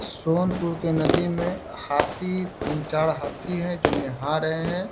सोनपुर के नदी में हाथी तीन चार हाथी हैं जो नहा रहे हैं।